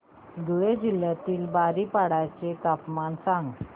धुळे जिल्ह्यातील बारीपाडा चे तापमान सांग